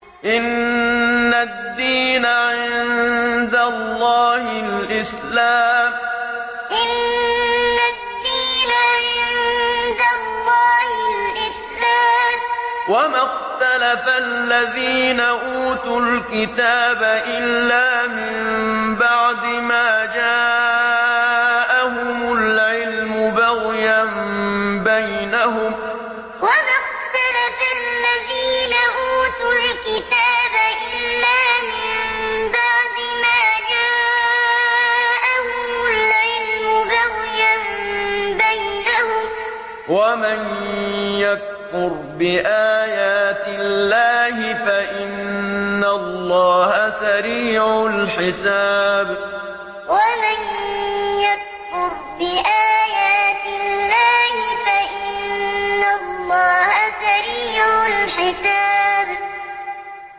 إِنَّ الدِّينَ عِندَ اللَّهِ الْإِسْلَامُ ۗ وَمَا اخْتَلَفَ الَّذِينَ أُوتُوا الْكِتَابَ إِلَّا مِن بَعْدِ مَا جَاءَهُمُ الْعِلْمُ بَغْيًا بَيْنَهُمْ ۗ وَمَن يَكْفُرْ بِآيَاتِ اللَّهِ فَإِنَّ اللَّهَ سَرِيعُ الْحِسَابِ إِنَّ الدِّينَ عِندَ اللَّهِ الْإِسْلَامُ ۗ وَمَا اخْتَلَفَ الَّذِينَ أُوتُوا الْكِتَابَ إِلَّا مِن بَعْدِ مَا جَاءَهُمُ الْعِلْمُ بَغْيًا بَيْنَهُمْ ۗ وَمَن يَكْفُرْ بِآيَاتِ اللَّهِ فَإِنَّ اللَّهَ سَرِيعُ الْحِسَابِ